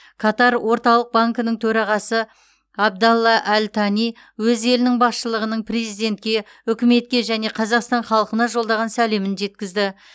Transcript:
катар орталық банкінің төрағасы абдалла әл тани өз елінің басшылығының президентке үкіметке және қазақстан халқына жолдаған сәлемін жеткізді